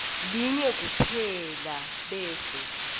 linye kuphela bese